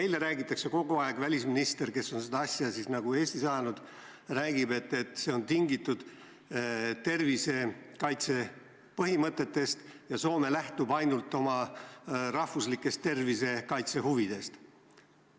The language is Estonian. Kogu aeg räägitakse – välisminister, kes on seda asja nagu Eestis ajanud, räägib –, et see on tingitud tervisekaitse põhimõtetest ja et Soome lähtub ainult oma riigi tervisekaitse huvidest.